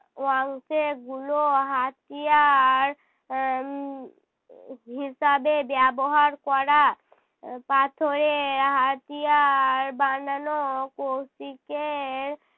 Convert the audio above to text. অংশে গুলো হাতিয়ার এর উম হিসাবে ব্যবহার করা আহ পাথরের হাতিয়ার বানানোর কৌশিকের